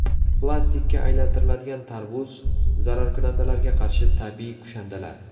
Plastikka aylantiriladigan tarvuz, zararkunandalarga qarshi tabiiy kushandalar.